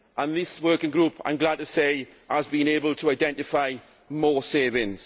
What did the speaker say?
This working group, I am glad to say, has been able to identify more savings.